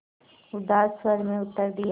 उदास स्वर में उत्तर दिया